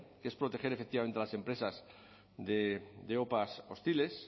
que es proteger efectivamente a las empresas de opa hostiles